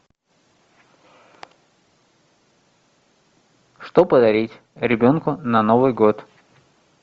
что подарить ребенку на новый год